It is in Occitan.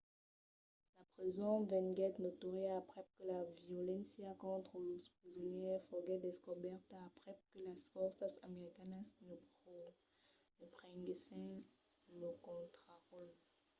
la preson venguèt notòria aprèp que la violéncia contra los presonièrs foguèt descobèrta aprèp que las fòrças americanas ne prenguèssen lo contraròtle